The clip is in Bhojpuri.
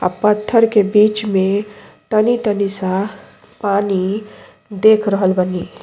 अ पत्थर के बीच में तनी-तनी सा पानी देख रहल बानी।